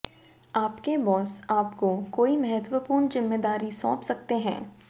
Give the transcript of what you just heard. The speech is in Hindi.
आपके बॉस आपको कोई महत्वपूर्ण जिम्मेदारी सौंप सकते हैं